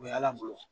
O ye ala bolo